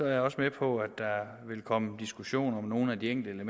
jeg også med på at der vil komme diskussioner om nogle af de enkelte